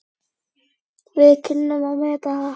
Við kunnum að meta það.